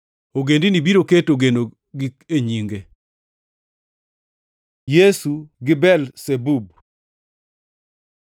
Ogendini biro keto genogi e nyinge.” + 12:21 \+xt Isa 42:1-4\+xt* Yesu gi Belzebub